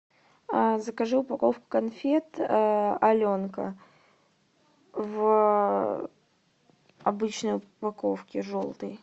закажи упаковку конфет аленка в обычной упаковке желтой